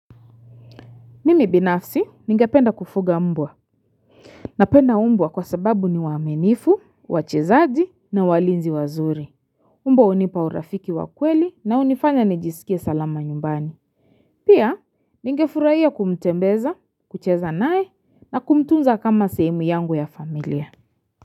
Mimi binafsi, ningependa kufuga mbwa. Napenda mbwa kwa sababu ni waaminifu, wachezaji na walinzi wazuri. Mbwa hunipa urafiki wa kweli na hunifanya nijisikie salama nyumbani. Pia, ningefurahia kumtembeza, kucheza naye na kumtunza kama sehemu yangu ya familia.